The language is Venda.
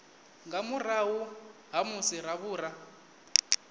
nga murahu ha musi ravhura